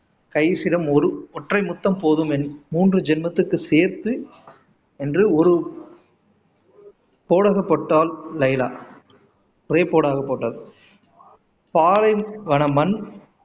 கைஸிடம் ஒரு ஒற்றை முத்தம் போதும் என் மூன்று ஜென்மத்துக்கு சேர்த்து என்று ஒரு லைலா ஒரே போடாக போட்டாள் பாலைவன மண்